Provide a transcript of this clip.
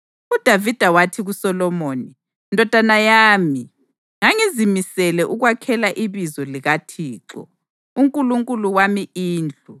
UDavida wathi kuSolomoni: “Ndodana yami, ngangizimisele ukwakhela iBizo likaThixo, uNkulunkulu wami indlu.